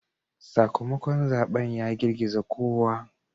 Sakamakon zaben ya girgiza kowa.